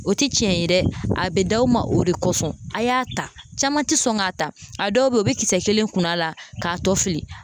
O tɛ tiɲɛ ye dɛ ,a bɛ d'aw ma o de kosɔn, a y'a ta caman tɛ sɔn k'a ta, a dɔw bɛ yen u bɛ kisɛ kelen kunu a la k'a to fili.